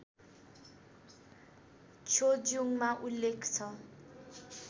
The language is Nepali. छ्योज्युङमा उल्लेख छ